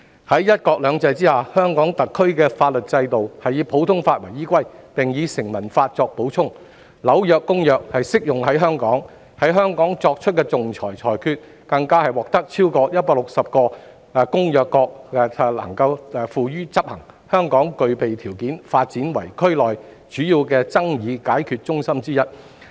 在"一國兩制"下，香港特區的法律制度是以普通法為依歸，並由成文法作補充，《紐約公約》亦適用於香港，在香港作出的仲裁裁決，更獲得超過160個該公約的締約國執行，香港具備條件發展為區內主要的爭議解決中心之一。